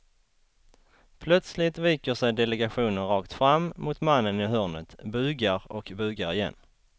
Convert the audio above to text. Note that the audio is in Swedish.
Plötsligt viker sig delegationen rakt fram mot mannen i hörnet, bugar och bugar igen.